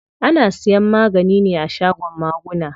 Ana siyan magani ne a shagon maguna.